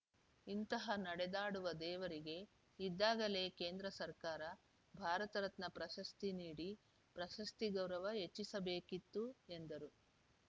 ಇಂತಹ ನಡೆದಾಡುವ ದೇವರಿಗೆ ಇದ್ದಾಗಲೇ ಕೇಂದ್ರ ಸರ್ಕಾರ ಭಾರತ ರತ್ನ ಪ್ರಶಸ್ತಿ ನೀಡಿ ಪ್ರಶಸ್ತಿ ಗೌರವ ಹೆಚ್ಚಿಸಬೇಕಿತ್ತು ಎಂದರು